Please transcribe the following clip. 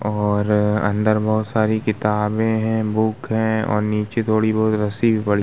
और अंदर बहुत सारी किताबें है बुक्स है और नीचे थोड़ी बहुत रस्सी भी पड़ी --